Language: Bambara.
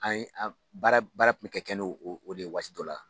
An ye an baara baara kun bɛ ka kɛ no o o de ye waati dɔ la.